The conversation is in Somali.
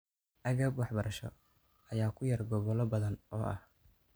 Agab waxbarasho ayaa ku yar gobollo badan oo ah.